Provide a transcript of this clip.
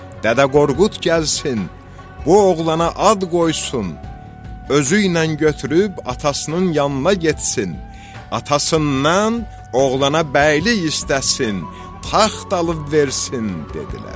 Dədə Qorqud gəlsin, bu oğlana ad qoysun, özüylə götürüb atasının yanına getsin, atasından oğlana bəylik istəsin, taxt alıb versin dedilər.